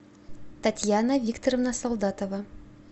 татьяна викторовна солдатова